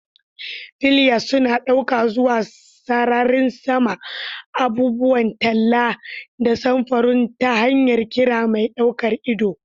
Flyers suna ɗauka zuwa sararin sama, abubuwan talla da samfuran ta hanyar ƙira mai ɗaukar ido.